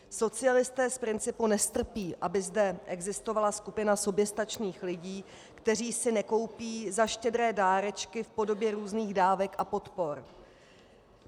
Socialisté z principu nestrpí, aby zde existovala skupina soběstačných lidí, které si nekoupí za štědré dárečky v podobě různých dávek a podpor.